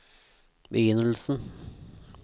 begynnelsen